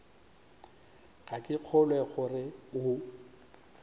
ga ke kgolwe gore o